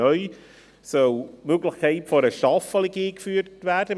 Neu soll die Möglichkeit einer Staffelung eingeführt werden.